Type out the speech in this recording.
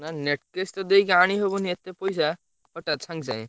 ନା net cash ଦେଇକି ଆଣି ହବନି ଏତେ ପଇସା ହଠାତ ସାଙ୍ଗେ ସାଙ୍ଗେ।